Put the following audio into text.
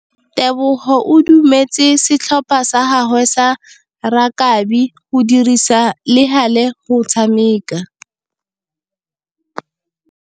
Tebogô o dumeletse setlhopha sa gagwe sa rakabi go dirisa le galê go tshameka.